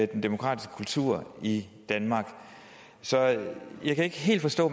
den demokratiske kultur i danmark så jeg kan ikke helt forstå